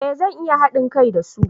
Eh zan iya hadin kai da su